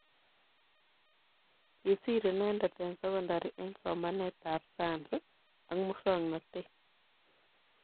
Kisiir inendet eng secondary eng somanetab science ak musoknotet